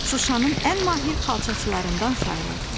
Şuşanın ən mahir xalçaçılarından sayılırdı.